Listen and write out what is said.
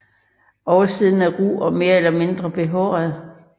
Oversiden er ru og mere eller mindre behåret